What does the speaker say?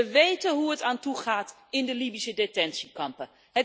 We weten hoe het er aan toe gaat in de Libische detentiekampen.